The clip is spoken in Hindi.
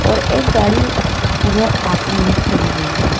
और एक गाड़ी व उधर आखरी मे खड़ी हुई है।